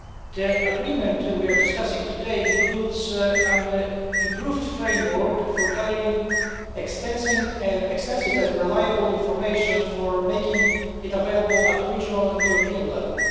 The agreement we are discussing today includes an improved framework for gathering extensive and reliable information, and making it available at regional and European level.